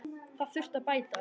Það þurfi að bæta.